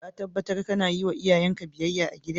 Ka tabatar kana yi ma iyayen ka biyyaya a'gida?